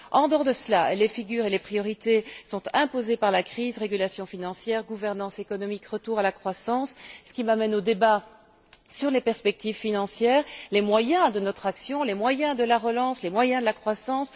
En dehors de cela, les figures et les priorités sont imposées par la crise régulation financière, gouvernance économique, retour à la croissance, ce qui m'amène au débat sur les perspectives financières, les moyens de notre action, les moyens de la relance, les moyens de la croissance.